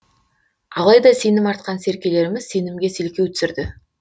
алайда сенім артқан серкелеріміз сенімге селкеу түсірді